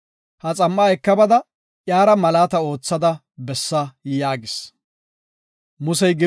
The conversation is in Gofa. Ha xam7a eka bada iyara malaata oothada bessa” yaagis.